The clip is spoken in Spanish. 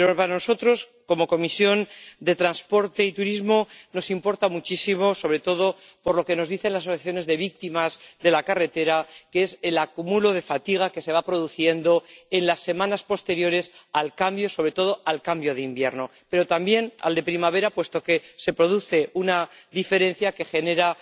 Pero a nosotros, como Comisión de Transportes y Turismo, nos importa muchísimo —sobre todo por lo que nos dicen las asociaciones de víctimas de la carretera— el acúmulo de fatiga que se va produciendo en las semanas posteriores al cambio, sobre todo al cambio de invierno, pero también al de primavera, puesto que se produce una diferencia que genera